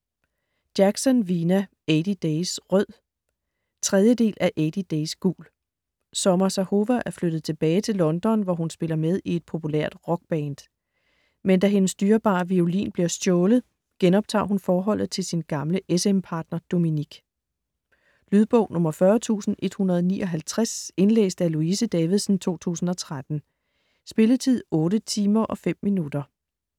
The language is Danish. Jackson, Vina: Eighty days rød 3. del af Eighty days gul. Summer Zahova er flyttet tilbage til London, hvor hun spiller med i et populært rockband. Men da hendes dyrebare violin bliver stjålet, genoptager hun forholdet til sin gamle s/m partner Dominik. Lydbog 40159 Indlæst af Louise Davidsen, 2013. Spilletid: 8 timer, 5 minutter.